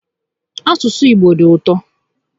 Asụsụ Igbo dị ụtọ